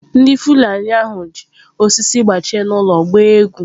Ndị Fulani ahụ ji osisi gbachie n’olu gbaa egwu.